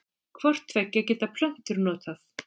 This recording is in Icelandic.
Hvort tveggja geta plöntur notað.